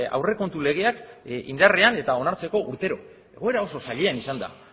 aurrekontu legeak indarrean eta onartzeko urtero egoera oso zailean izan da